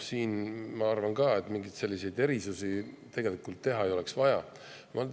Ma arvan ka, et selliseid erisusi siin tegelikult ei oleks vaja teha.